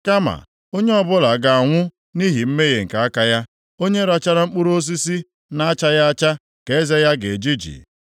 Kama onye ọbụla ga-anwụ nʼihi mmehie nke aka ya; onye rachara mkpụrụ osisi na-achaghị acha ka eze ya ga-ejiji.